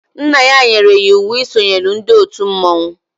Nna ya nyere ya íwú e sonyela ndị òtù mmọnwụ